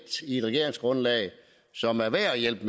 i et regeringsgrundlag som er værd at hjælpe